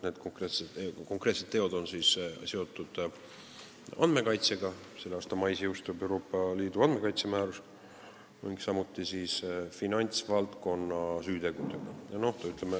Need konkreetsed teod on seotud andmekaitsega – selle aasta mais jõustub Euroopa Liidu andmekaitsemäärus – ning finantsvaldkonna süütegudega.